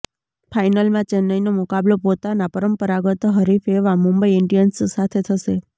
ફાઇનલમાં ચેન્નઇનો મુકાબલો પોતાના પરંપરાગત હરીફ એવા મુંબઇ ઇન્ડિયન્સ સાથે થશે